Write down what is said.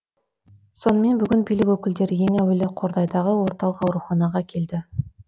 сонымен бүгін билік өкілдері ең әуелі қордайдагы орталык ауруханага келді